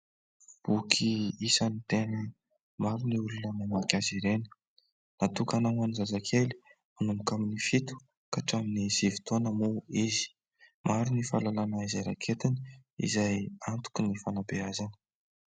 Boky isan'ny tena maro ny olona mamaky azy ireny. Natokana ho an'ny zazakely manomboka amin'ny fito ka hatramin'ny sivy taona moa izy. Maro ny fahalalana izay raketiny izay antoky ny fanabeazana.